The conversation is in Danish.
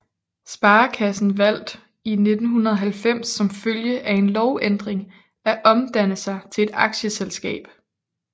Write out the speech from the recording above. Sparekassen valgt i 1990 som følge af en lovændring at omdanne sig til et aktieselskab